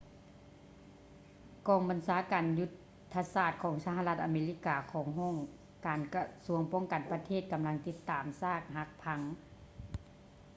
ກອງບັນຊາການຍຸດທະສາດຂອງສະຫະລັດອາເມລິກາຂອງຫ້ອງການກະຊວງປ້ອງກັນປະເທດກຳລັງຕິດຕາມຊາກຫັກພັງ